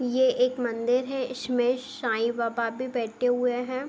ये एक मंदिर है इसमें शाईबाबा भी बैठे हुए हैं ।